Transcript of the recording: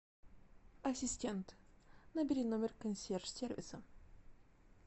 ассистент набери номер консьерж сервиса